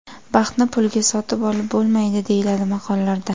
Baxtni pulga sotib olib bo‘lmaydi, deyiladi maqollarda.